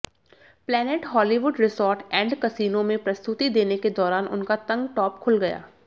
planet Hollywood Resort and Casino में प्रस्तुति देने के दौरान उनका तंग टॉप खुल गया